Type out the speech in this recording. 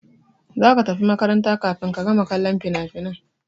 Za ka tafi makaranta kafin ka gama kallon finafinan!